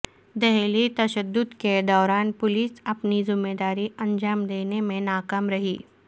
دہلی تشدد کے دوران پولیس اپنی ذمہ داری انجام دینے میں ناکام رہی